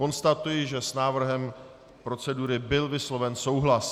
Konstatuji, že s návrhem procedury byl vysloven souhlas.